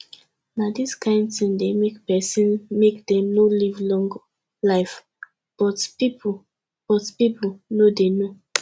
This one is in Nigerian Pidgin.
na dis kin thing dey make person make dem no live long life but people but people no dey know